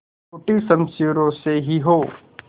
टूटी शमशीरों से ही हो